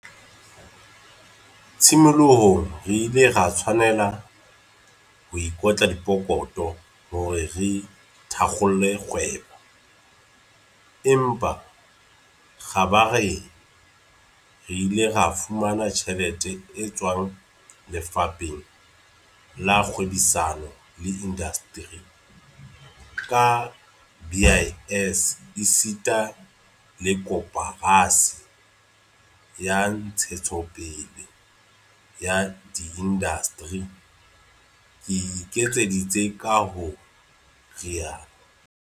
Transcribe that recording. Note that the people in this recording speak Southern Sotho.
"Tshimolohong re ile ra tshwanela ho ikotla pokotho hore re thakgole kgwebo, empa kgabareng re ile ra fumana tjhelete e tswang Lefapheng la Kgwebisano le Indasteri, DTI, ka BIS esita le Koporasi ya Ntshetsopele ya Diindasteri, IDC," o ekeditse ka ho rialo.